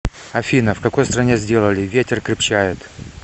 афина в какой стране сделали ветер крепчает